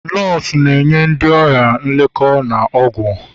nọọsụ na-enye ndị ọrịa nlekọta na ọgwụ